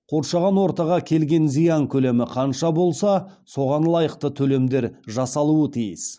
қоршаған ортаға келген зиян көлемі қанша болса соған лайықты төлемдер жасалуы тиіс